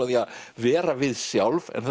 því að vera við sjálf en